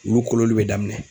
Wulu kolonli be daminɛ.